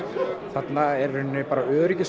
þarna er í rauninni bara